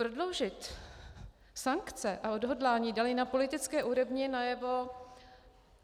Prodloužit sankce a odhodlání dali na politické úrovni najevo